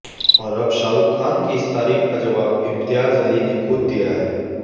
और अब शाहरूख खान की इस तारीफ का जवाब इम्तियाज़ अली ने खुद दिया है